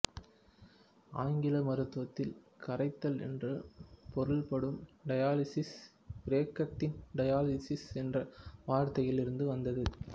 ஆங்கில மருத்துவத்தில் கரைத்தல் என்று பொருள்படும் டயாலிசிஸ் கிரேக்கத்தின் டயால்யூசிஸ் என்ற வார்த்தையில் இருந்து வந்தது